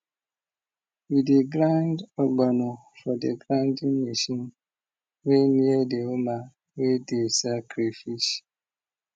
we dey grind ogbono for the grinding machine wey near the woman wey dey sell crayfish